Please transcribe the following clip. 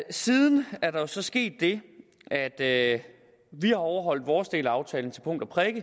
siden er der jo så sket det at vi har overholdt vores del af aftalen til punkt og prikke